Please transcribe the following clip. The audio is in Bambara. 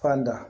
Fan da